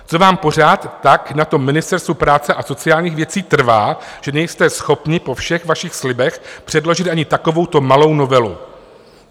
Co vám pořád tak na tom Ministerstvu práce a sociálních věcí trvá, že nejste schopni po všech vašich slibech předložit ani takovouto malou novelu?